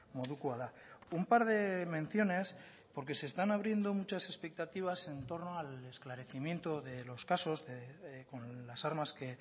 modukoa da un par de menciones porque se están abriendo muchas expectativas en torno al esclarecimiento de los casos con las armas que